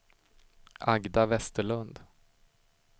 Agda Vesterlund